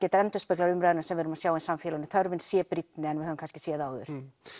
þetta endurspeglar umræðuna sem við erum að sjá í samfélaginu þörfin sé brýnni en við höfum kannski séð áður